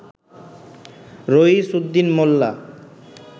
রইছ Uddin মোল্লা